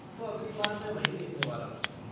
तो अगली बार मैं वही देखने वाला हूँ।